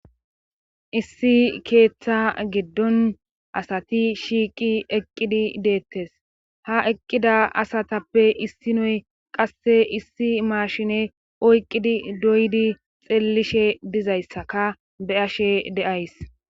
Issi keeththa giddon asati shiiqi eqqidi deettes ha eqqida asatappe issi noy qasse issi maashine oyqqidi doydi xeellishe dizayssaka be'ashe de'ays.